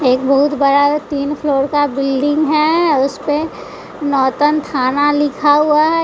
एक बहुत बड़ा तीन फ्लोर का बिल्डिंग है उसपे नौतन खाना लिखा हुआ है।